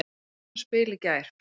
Við sáum það spil í gær.